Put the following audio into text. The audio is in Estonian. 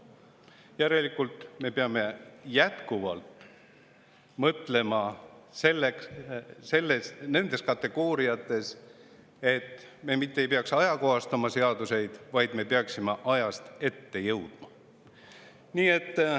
Järelikult peame me jätkuvalt mõtlema nendes kategooriates, et me mitte ei peaks seadusi ajakohastama, vaid me peaksime ajast ette jõudma.